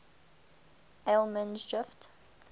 allemansdrift